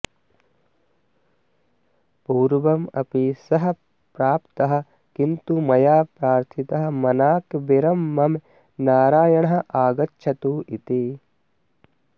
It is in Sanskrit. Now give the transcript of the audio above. पूर्वम् अपि सः प्राप्तः किन्तु मया प्रर्थितः मनाक् विरम मम नारायणः आगच्छतु इति